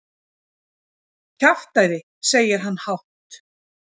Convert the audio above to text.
Kjaftæði, segir hann hátt.